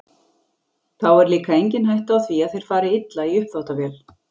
Þá er líka engin hætta á því að þeir fari illa í uppþvottavél.